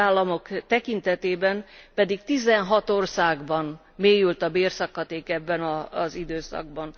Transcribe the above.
A tagállamok tekintetében pedig 16 országban mélyült a bérszakadék ebben az időszakban.